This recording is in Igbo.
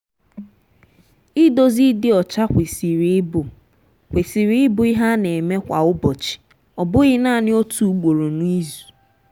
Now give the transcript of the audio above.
idozi ịdị ọcha kwesịrị ịbụ kwesịrị ịbụ ihe a na-eme kwa ụbọchị ọ bụghị naanị otu ugboro n’izu.